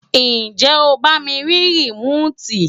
ǹjẹ́ o bá mi rí rìmóòtì?